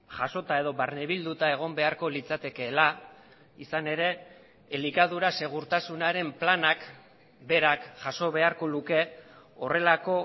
jasota edo barnebilduta egon beharko litzatekeela izan ere elikadura segurtasunaren planak berak jaso beharko luke horrelako